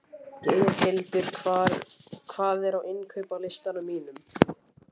Geirhildur, hvað er á innkaupalistanum mínum?